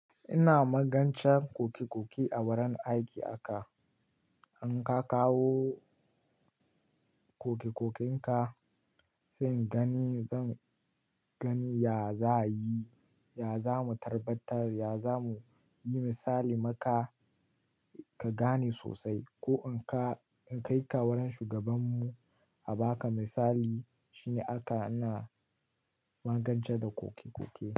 Ina magancan kokekoke a wurin aiki a ka, in ka kawo kokekokenka zan gani ya za yi, ya za mu tabbatar, ya za mu yi misali maka ka gane sosai. Ko in ka kai ka wurin shugabanmu a ba ka misali shine aka ana magance da kokikoki.